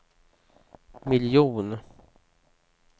miljon